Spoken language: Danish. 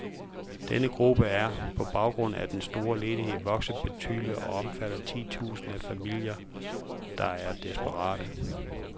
Denne gruppe er, på baggrund af den store ledighed, vokset betydeligt og omfatter titusinder af familier, der er desperate.